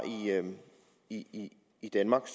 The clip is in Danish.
i i danmark